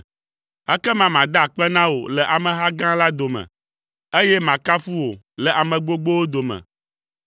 Ekema mada akpe na wò le ameha gã la dome, eye makafu wò le ame gbogbowo dome.